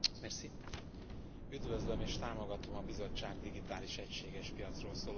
Üdvözlöm és támogatom a Bizottság digitális egységes piacról szóló kezdeményezését.